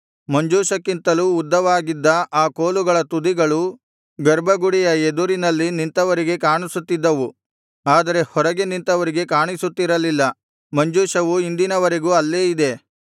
ಮಂಜೂಷಕ್ಕಿಂತಲೂ ಉದ್ದವಾಗಿದ್ದ ಆ ಕೋಲುಗಳ ತುದಿಗಳು ಗರ್ಭಗುಡಿಯ ಎದುರಿನಲ್ಲಿ ನಿಂತವರಿಗೆ ಕಾಣಿಸುತ್ತಿದ್ದವು ಆದರೆ ಹೊರಗೆ ನಿಂತವರಿಗೆ ಕಾಣಿಸುತ್ತಿರಲಿಲ್ಲ ಮಂಜೂಷವು ಇಂದಿನವರೆಗೂ ಅಲ್ಲೇ ಇದೆ